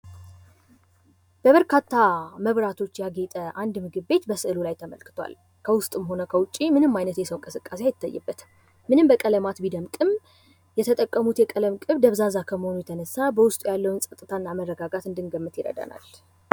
የበርካታ መብራቶች የያዘ አንድ ምግብ ቤት በስሉላይ ላይ ተመልክቷል በውስጥም ሆነ በዉጭ ምንም አይታይበትም ::ምንም በቀለማት ቢደምቅም የተጠቀሙት የከልም ቅብ ደብዛዛ ከመሆኑ የተነሳ በዉስጡ ያለዉን ፀጥስታ እንድንመለከት ይረዳናል ::